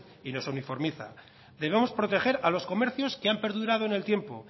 y nos uniformiza debemos proteger a los comercios que han perdurado en el tiempo